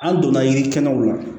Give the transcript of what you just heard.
An donna yirikɛnɛw la